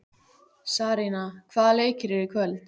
Sarína, hvaða leikir eru í kvöld?